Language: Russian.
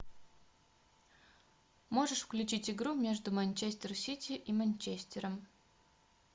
можешь включить игру между манчестер сити и манчестером